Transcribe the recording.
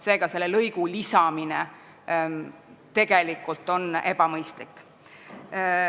Seega on selle lõigu lisamine tegelikult ebamõistlik.